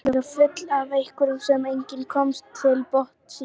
Þau virtust vera full af einhverju sem enginn komst til botns í.